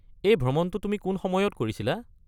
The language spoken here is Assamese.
এই ভ্ৰমণটো তুমি কোন সময়ত কৰিছিলা?